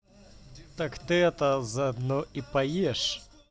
так ты это заодно и поешь